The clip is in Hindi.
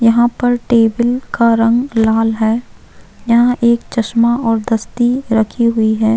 यहाँ पे टेबल का रंग लाल है यहाँ पे एक चश्मा और दस्ती रखी हुई है।